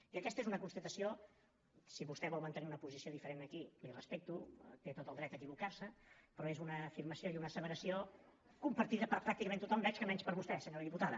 i aquesta és una constatació si vostè vol mantenir una posició diferent aquí li ho respecto té tot el dret a equivocarse però és una afirmació i una asseveració compartida per pràcticament tothom veig que menys per vostè senyora diputada